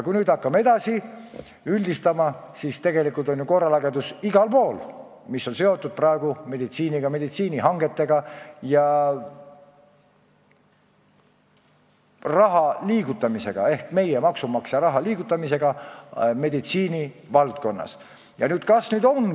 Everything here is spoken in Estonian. Kui nüüd juhtunut üldistada, siis kui asi on seotud meditsiiniga, meditsiinihangetega ja meie, maksumaksjate raha liigutamisega meditsiini valdkonnas, on korralagedus igal pool.